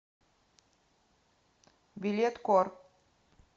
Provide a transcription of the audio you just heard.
билет кор